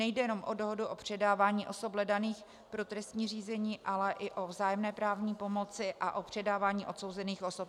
Nejde jenom o dohodu o předávání osob hledaných pro trestní řízení, ale i o vzájemné právní pomoci a o předávání odsouzených osob.